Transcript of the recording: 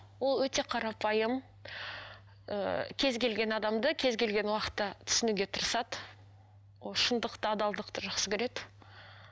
ол өте қарапайым ыыы кез келген адамды кез келген уақытта түсінуге тырысады ол шындықты адалдықты жақсы көреді